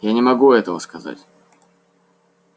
я не могу этого сказать